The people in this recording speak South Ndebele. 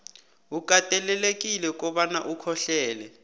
ukatelelekile kobana ukhohlelele